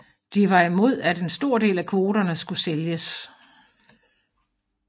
De var imod at en stor del af kvoterne skulle sælges